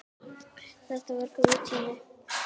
Þetta var góður tími.